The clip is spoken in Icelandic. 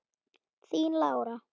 Þín Lára.